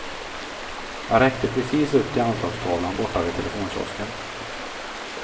Jag räckte precis upp till anslagstavlan borta vid telefonkiosken.